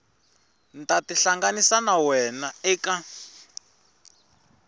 ta tihlanganisa na wena eka